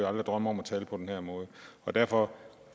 aldrig drømme om at tale på den her måde derfor